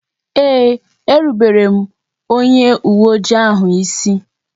Ee, e rubere m onye uwe oji ahu isi